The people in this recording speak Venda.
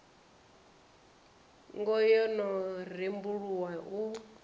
hogo yo no rembuluwa u